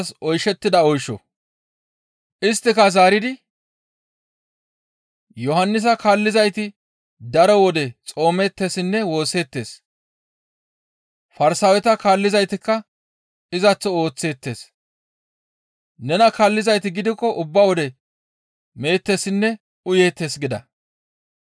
Isttika zaaridi, «Yohannisa kaallizayti daro wode xoomeettessinne woosseettes. Farsaaweta kaallizaytikka izaththo ooththeettes. Nena kaallizayti gidikko ubba wode meettessinne uyeettes» gida.